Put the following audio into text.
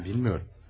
Bilmiyorum.